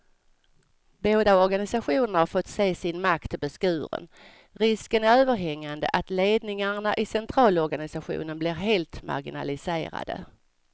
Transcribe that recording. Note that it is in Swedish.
Båda organisationerna har fått se sin makt beskuren, risken är överhängande att ledningarna i centralorganisationerna blir helt marginaliserade.